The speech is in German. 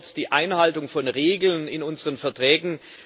Sie erfordert die Einhaltung der Regeln in unseren Verträgen.